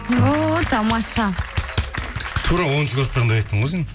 о тамаша тура оныншы класстағындай айттың ғой сен